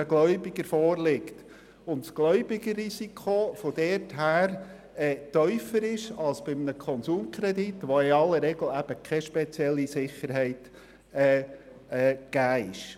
Damit ist das Gläubigerrisiko bei der Pfandleihe tiefer als bei einem Konsumkredit, wo es in aller Regel keine spezielle Sicherheit gibt.